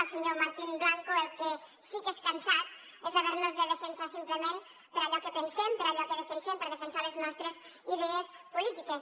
al senyor martín blanco el que sí que és cansat és haver nos de defensar simplement per allò que pensem per allò que defensem per defensar les nostres idees polítiques